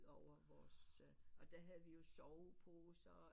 Over vores og øh der havde vi jo soveposer